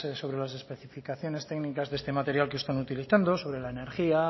sobre las especificaciones técnicas de este material que están utilizando sobre la energía